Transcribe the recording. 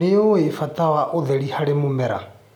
Nĩũĩ bata wa ũtheri harĩ mĩmera.